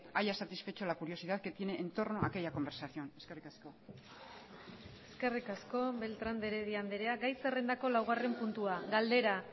haya satisfecho la curiosidad que tiene en torno a aquella conversación eskerrik asko eskerrik asko beltrán de heredia andrea gai zerrendako laugarren puntua galdera